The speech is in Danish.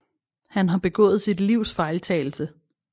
Han har begået sit livs fejltagelse